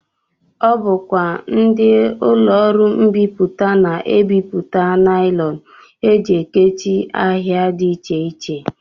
Ọ bụkwa ndị ụlọọrụ mbipụta na-ebipụta naịlọn e ji ekechi ahịa dị iche iche